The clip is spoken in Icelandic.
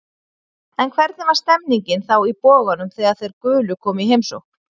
En hvernig var stemmningin þá í Boganum þegar þeir gulu komu í heimsókn?